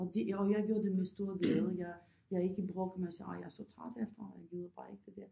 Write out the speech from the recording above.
Og det og jeg gør det med stor glæde jeg jeg ikke brokke mig sagde ah jeg er træt herfra jeg gider bare ikke det der